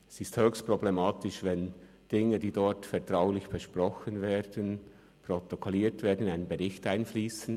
Es ist höchst problematisch, wenn Dinge, die dort vertraulich besprochen werden, protokolliert werden und in einen Bericht einfliessen.